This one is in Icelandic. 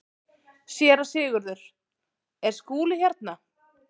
SÉRA SIGURÐUR: Er Skúli hérna?